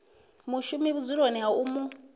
mushumi vhudzuloni ha u mu